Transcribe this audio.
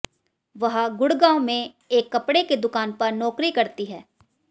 वह गुडग़ांव में एक कपड़े की दुकान पर नौकरी करती है